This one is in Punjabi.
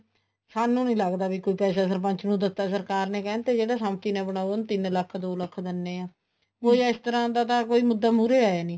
ਸਾਨੂੰ ਨਹੀਂ ਲੱਗਦਾ ਕੀ ਕੋਈ ਪੈਸਾ ਸਰਪੰਚ ਨੂੰ ਦਿੱਤਾ ਸਰਕਾਰ ਨੇ ਕਹਿੰਦੇ ਤੇ ਜਿਹੜਾ ਸੰਮਤੀ ਨਾਲ ਬਣਾਉ ਇਹਨੂੰ ਤਿੰਨ ਲੱਖ ਦੋ ਲੱਖ ਦਿੰਨੇ ਆ ਕੁੱਛ ਇਸ ਤਰ੍ਹਾਂ ਦਾ ਮੁੱਦਾ ਮੁਹਰੇ ਆਇਆ ਨਹੀਂ